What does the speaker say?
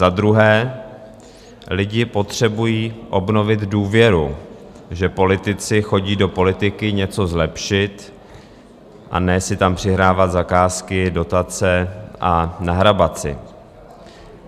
Za druhé, lidé potřebují obnovit důvěru, že politici chodí do politiky něco zlepšit, a ne si tam přihrávat zakázky, dotace a nahrabat si.